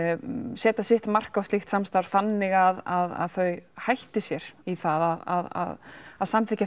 setja sitt mark á slíkt samstarf þannig að þau hætti sér í að að samþykkja